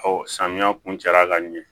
samiya kun cɛla ka ɲɛ